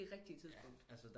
Det rigtige tidspunkt